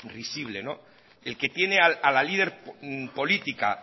risible el que tiene a la líder política